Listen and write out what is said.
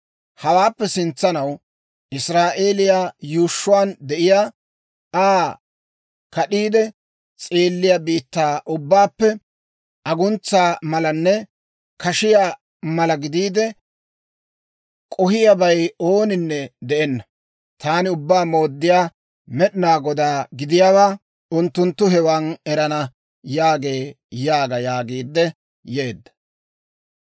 «‹ «Hawaappe sintsanaw Israa'eeliyaa yuushshuwaan de'iyaa, Aa kad'iide s'eelliyaa biittaa ubbaappe, aguntsa malanne kashiyaa mala gidiide k'ohiyaabay ooninne de'enna. Taani Ubbaa Mooddiyaa Med'inaa Godaa gidiyaawaa unttunttu hewan erana» yaagee› yaaga» yaagiidde yeedda.